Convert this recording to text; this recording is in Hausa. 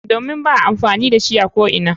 Domin ba a amfani da shi a ko'ina.